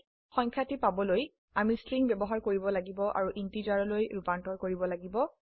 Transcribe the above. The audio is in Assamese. সংখ্যাটি পাবলৈআমি স্ট্ৰিং ব্যবহাৰ কৰিব লাগিব আৰু ইন্টিজাৰলৈ ৰুপান্তৰ কৰিব লাগিব